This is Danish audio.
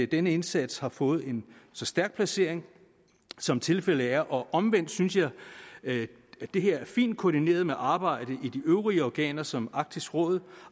den indsats har fået en så stærk placering som tilfældet er og omvendt synes jeg at det her er fint koordineret med arbejdet i de øvrige organer som arktisk råd